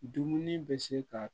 Dumuni bɛ se ka